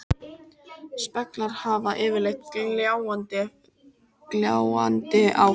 Speglar hafa yfirleitt gljáandi áferð.